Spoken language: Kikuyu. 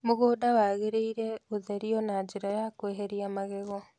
Mũgũnda wagĩrĩire gũtherio na njĩra ya kweheria magego